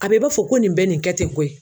A bɛ i b'a fɔ ko nin bɛ nin kɛ ten koyi?